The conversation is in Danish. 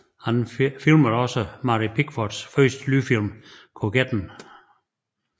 Han filmede også Mary Pickfords første lydfilm Koketten